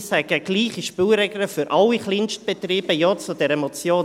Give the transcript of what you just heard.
Ich sage: Gleiche Spielregeln für alle Kleinstbetriebe – Ja zu dieser Motion.